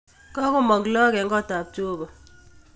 Kakomog lakok en kotab jeobo